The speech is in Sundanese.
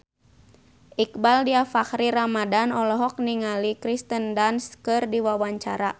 Iqbaal Dhiafakhri Ramadhan olohok ningali Kirsten Dunst keur diwawancara